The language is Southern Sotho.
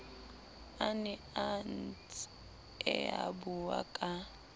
a ne a ntseabua ka